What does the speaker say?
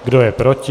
Kdo je proti?